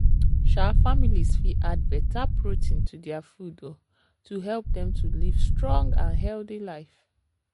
um families fit add better protein to their food um to help dem to live strong and healthy life.